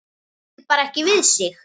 Ræður bara ekki við sig.